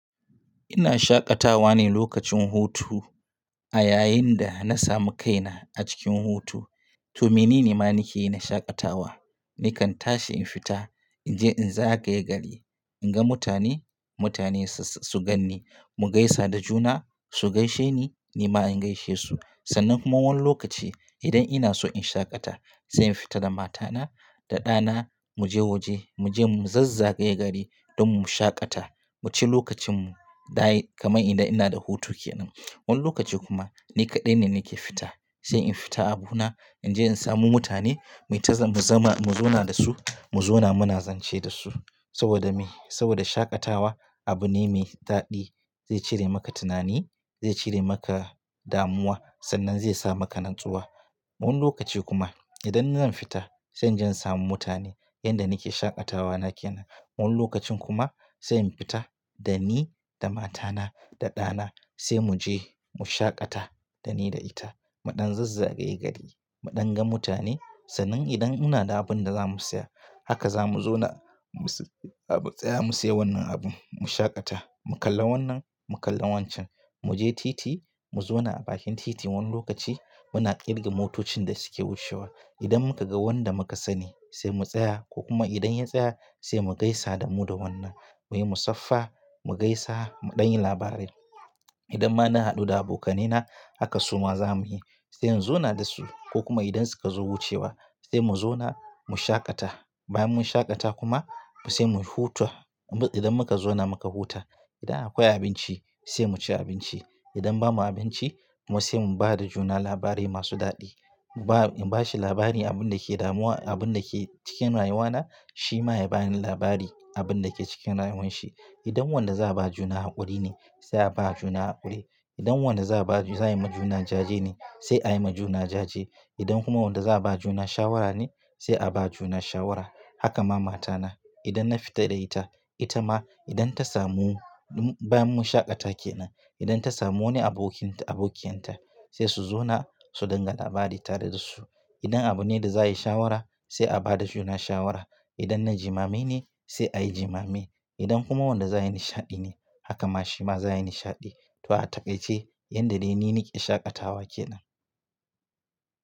Ina shaƙatawa ne lokacin hutu a yayin da na samu kaina a cikin hutu. To menene ma nake yi na shaƙatawa? Nakan tashi in fita, in je in za gaye gari, in ga mutane, mutane su ganni, mu gaisa da juna, su gaishe ni, ni ma in gaishe su. Sannan kuma wani lokaci idan ina so in shaƙata sai in fita da matana da ɗana mu je waje, mu je mu zazza gaye gari don mu shaƙata, mu ci lokacinmu da kamai idan ina da hutu kenan. Wani lokaci kuma ni kaɗai ne nake fita, sai in fita a bu na in je in samu mutane, mu ta mu zama mu zauna da su, mu zauna muna zance da su saboda me? Saboda shaƙatawa abu ne mai daɗi zai cire maka tunani, zai cire maka damuwa sannan zai sa maka natsuwa. Wani lokaci kuma idan zan fita sai inje samu mutane yanda nake shaƙatawa nake nan. Wani lokacin kuma sai in fita da ni da matana da ɗana sai mu je mu shaƙata da ni da ita, muɗan zazza gaye gari, muɗan ga mutane sannan idan ina da abin da za mu saya haka za mu zauna mu tsaya mu saya wannan abun mu shaƙata, mu kalla wannan, mu kalla wancan, mu je titi mu zauna a bakin titi wani lokaci muna kirga motocin da suke wucewa. Idan muka ga wanda muka sani sai mu tsaya ko kuma idan ya tsaya sai mu gaisa da mu da wannan. Muyi musaffar mu gaisa muɗan yi labarai. Idan ma na haɗu da abokanai na haka suma za mu yi, sai in zauna da su ko kuma idan suka zo wucewa sai mu zauna mu shaƙata. Bayan mun shaƙata kuma sai mu huta. Idan muka zauna muka huta idan akwai abinci sai mu ci abinci. Idan babu abinci kuma sai mu ba da juna labarai masu daɗi. Ba in bashi labari abin da ke damuwa abin da ke cikin rayuwana shi ma ya bani labari abin da ke cikin rayuwan shi. Idan wanda za a ba juna haƙuri ne sai a ba juna haƙuri. Idan wanda za a ba za a yi ma juna jaje ne sai a yi ma juna jaje. Idan kuma wanda za a ba juna shawara ne sai a ba juna shawara. Haka ma matana idan na fita da ita, ita ma idan ta samu bayan mun shaƙata kenan idan ta samu wani abokin abokiyarta sai su zauna su dinga labari tare da su. Idan abu ne da za a yi shawara sai a ba da juna shawara. Idan na jimame ne sai a yi jimame. Idan kuma wanda za a yi nishaɗi ne haka ma shi ma za a yi nishaɗi. To ataƙaice yanda dai ni nake shaƙatawa kenan.